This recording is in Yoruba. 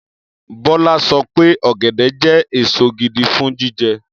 Bọ́lá sọ pé ọ̀gẹ̀dẹ̀ jẹ́ èso gidi fún jíjẹ.